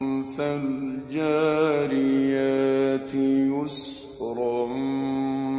فَالْجَارِيَاتِ يُسْرًا